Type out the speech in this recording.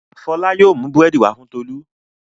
Fọlá yóò mú búrẹ́dì wá fún Tolú.